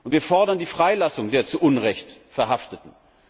Wir fordern die Freilassung der zu Unrecht Verhafteten.